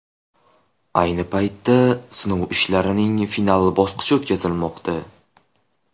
Ayni paytda sinov ishlarining final bosqichi o‘tkazilmoqda.